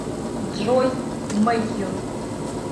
джой мэтью